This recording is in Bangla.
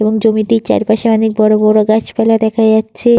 এবং জমিটির চারপাশে অনেক বড় বড় গাছপালা দেখা যাচ্ছে।